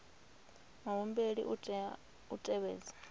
muhumbeli u tea u tevhedza